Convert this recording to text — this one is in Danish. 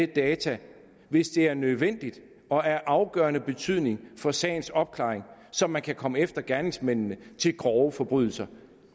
data hvis det er nødvendigt og af afgørende betydning for sagens opklaring og så man kan komme efter gerningsmændene til grove forbrydelser